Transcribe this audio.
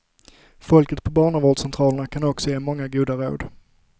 Folket på barnavårdscentralerna kan också ge många goda råd.